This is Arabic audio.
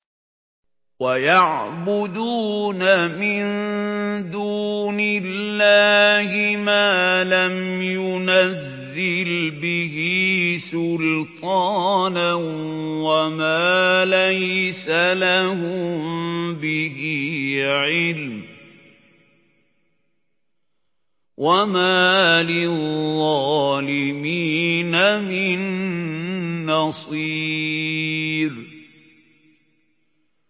وَيَعْبُدُونَ مِن دُونِ اللَّهِ مَا لَمْ يُنَزِّلْ بِهِ سُلْطَانًا وَمَا لَيْسَ لَهُم بِهِ عِلْمٌ ۗ وَمَا لِلظَّالِمِينَ مِن نَّصِيرٍ